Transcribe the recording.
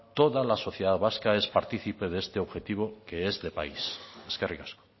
toda la sociedad vasca es partícipe de este objetivo que es de país eskerrik asko